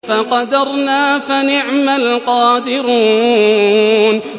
فَقَدَرْنَا فَنِعْمَ الْقَادِرُونَ